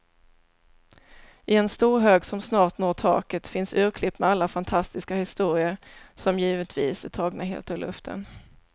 I en stor hög som snart når taket finns urklipp med alla fantastiska historier, som givetvis är tagna helt ur luften.